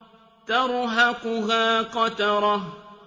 تَرْهَقُهَا قَتَرَةٌ